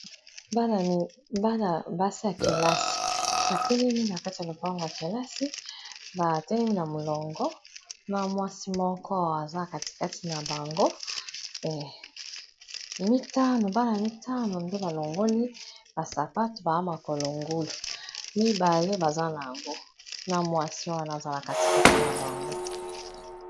bana basi ya kelasi batelemi na kati ya lopango ya kelasi batelemi na molongo na mwasi moko aza katikati na bango mbala mitano nde balongoli basapate baa makolo ngulu mibale baza na yango na mwasi wana aza na katikati na bango